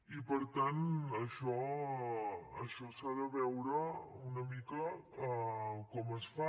i per tant això s’ha de veure una mica com es fa